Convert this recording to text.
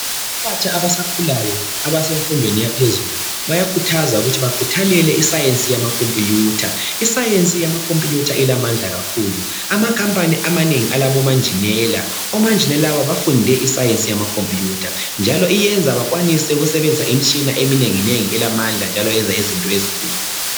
abantu abasakhulayo abasemfundweni yaphezulu bayakhuthaza ukuthi bakhuthalele isayensi yamakhomputha, isayensi yamakhomputha ilamandla kakhulu amakhampaniamanengi aloba enjenela, oma enjenela laba bafundele isayenzi yamakhomputha njalo ibenza benelise ukusebenzisa imitshina eminengi nengi elamandla njalo ebenza bakwanise ukwenza izinto ezinkulu.